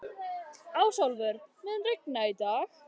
Ásólfur, mun rigna í dag?